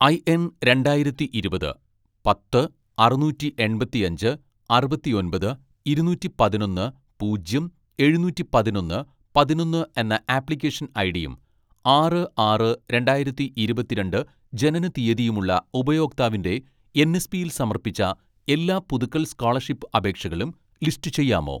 IN രണ്ടായിരത്തി ഇരുപത് പത്ത് അറുനൂറ്റി എൺപത്തിയഞ്ച് അറുപത്തിയൊമ്പത് ഇരുനൂറ്റി പതിനൊന്ന് പൂജ്യം എഴുനൂറ്റി പതിനൊന്ന് പതിനൊന്ന് എന്ന ആപ്ലിക്കേഷൻ ഐഡിയും ആറ്‍ ആറ് രണ്ടായിരത്തി ഇരുപത്തിരണ്ട്‍ ജനനത്തീയതിയും ഉള്ള ഉപയോക്താവിന്റെ എൻ.എസ്.പിയിൽ സമർപ്പിച്ച എല്ലാ പുതുക്കൽ സ്‌കോളർഷിപ്പ് അപേക്ഷകളും ലിസ്റ്റ് ചെയ്യാമോ